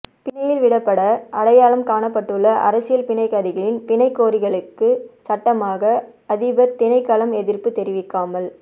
பிணையில் விடப்பட அடையாளம் காணப்பட்டுள்ள அரசியல் கைதிகளின் பிணை கோரிக்கைகளுக்கு சட்டமா அதிபர் திணைக்களம் எதிர்ப்பு தெரிவிக்காமல்